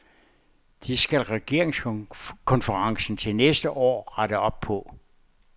Det skal regeringskonferencen til næste år rette op på.